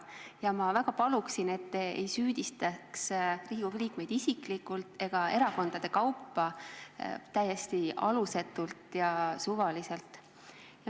Ja ma väga paluksin, et te ei süüdistaks Riigikogu liikmeid isiklikult ega erakondade kaupa täiesti alusetult ja suvaliselt.